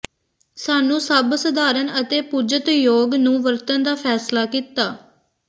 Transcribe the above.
ਸਾਨੂੰ ਸਭ ਸਧਾਰਨ ਅਤੇ ਪੁੱਜਤਯੋਗ ਨੂੰ ਵਰਤਣ ਦਾ ਫੈਸਲਾ ਕੀਤਾ